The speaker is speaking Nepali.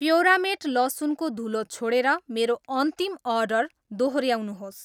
प्योरामेट लसुनको धुलो छोडेर मेरो अन्तिम अर्डर दोहोऱ्याउनुहोस्।